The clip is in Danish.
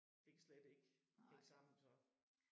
Det kan slet ikke hænge sammen så